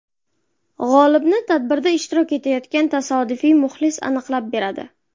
G‘olibni tadbirda ishtirok etayotgan tasodifiy muxlis aniqlab beradi.